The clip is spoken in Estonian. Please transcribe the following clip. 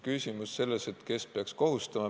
Nüüd, kes peaks kohustama.